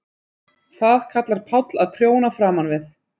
Það kallar Páll að prjóna framan við.